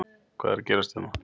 Hvað er að gerast hérna?